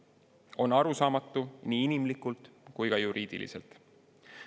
See on arusaamatu nii inimlikult kui ka juriidiliselt.